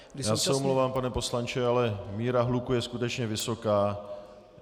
Já se omlouvám, pane poslanče, ale míra hluku je skutečně vysoká.